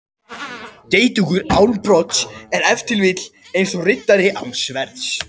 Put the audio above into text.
Geitungur án brodds er ef til vill eins og riddari án sverðs.